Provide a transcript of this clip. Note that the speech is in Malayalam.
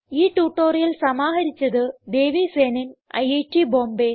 ഈ ട്യൂട്ടോറിയൽ സമാഹരിച്ചത് ദേവി സേനൻ ഐറ്റ് ബോംബേ